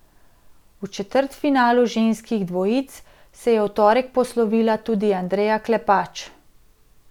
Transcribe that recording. V četrtfinalu ženskih dvojic se je v torek poslovila tudi Andreja Klepač.